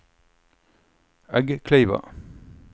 Eggkleiva